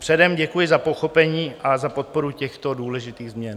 Předem děkuji za pochopení a za podporu těchto důležitých změn.